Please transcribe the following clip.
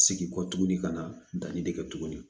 Segin kɔ tuguni ka na danni de kɛ tuguni